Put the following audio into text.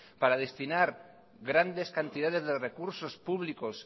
para destinar grandes cantidades de recursos públicos